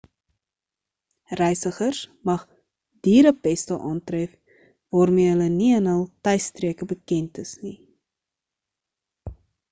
reisigers mag dierepeste aantref waarmee hulle nie in hul tuisstreke bekend is nie